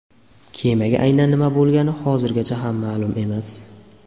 Kemaga aynan nima bo‘lgani hozirgacha ham ma’lum emas.